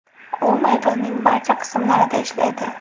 U maydonning barcha qismlarida ishlaydi.